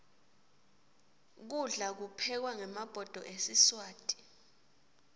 kudla kuphekwa ngemabhodo esiswati